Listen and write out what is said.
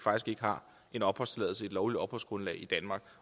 ikke har en opholdstilladelse og et lovligt opholdsgrundlag i danmark